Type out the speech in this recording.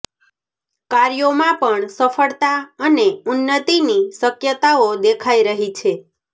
કાર્યોમાં પણ સફળતા અને ઉન્નતિની શક્યતાઓ દેખાય રહી છે